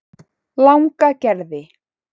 Langagerði